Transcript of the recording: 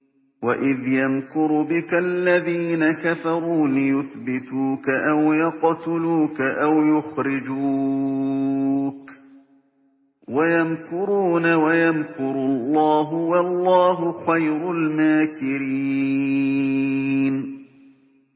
وَإِذْ يَمْكُرُ بِكَ الَّذِينَ كَفَرُوا لِيُثْبِتُوكَ أَوْ يَقْتُلُوكَ أَوْ يُخْرِجُوكَ ۚ وَيَمْكُرُونَ وَيَمْكُرُ اللَّهُ ۖ وَاللَّهُ خَيْرُ الْمَاكِرِينَ